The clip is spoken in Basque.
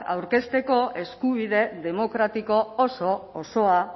aurkezteko eskubide demokratiko osoa